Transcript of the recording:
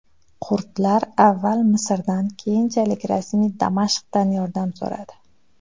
Kurdlar avval Misrdan , keyinchalik rasmiy Damashqdan yordam so‘radi.